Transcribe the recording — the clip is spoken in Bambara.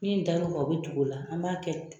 Min dar'o kan o bɛ tugu o la an b'a kɛ